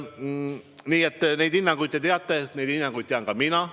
Nii et neid hinnanguid teate teie, neid hinnanguid tean ka mina.